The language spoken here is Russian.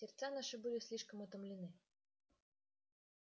сердца наши были слишком утомлены